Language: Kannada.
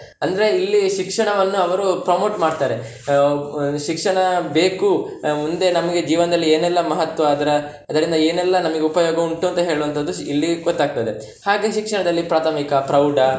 ಅಂದ್ರೆ ಇಲ್ಲಿ ಶಿಕ್ಷಣವನ್ನು ಅವರು promote ಮಾಡ್ತಾರೆ, ಆಹ್ ಶಿಕ್ಷಣ ಬೇಕು ಮುಂದೆ ನಮಿಗೆ ಜೀವನದಲ್ಲಿ ಏನೆಲ್ಲ ಮಹತ್ವ ಅದ್ರ ಅದರಿಂದ ಏನೆಲ್ಲಾ ನಮಿಗೆ ಉಪಯೋಗ ಉಂಟು ಅಂತ ಹೇಳುವಂತದ್ದು ಇಲ್ಲಿ ಗೊತ್ತಾಗ್ತದೆ. ಹಾಗೆ ಶಿಕ್ಷಣದಲ್ಲಿ ಪ್ರಾಥಮಿಕ, ಪ್ರೌಢ.